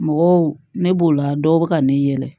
Mɔgɔw ne b'o la dɔw bɛ ka ne yɛlɛ